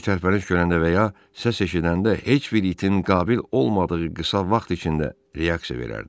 Bir tərpəniş görəndə və ya səs eşidəndə heç bir itin qabil olmadığı qısa vaxt içində reaksiya verərdi.